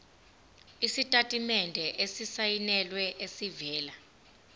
isitatimende esisayinelwe esivela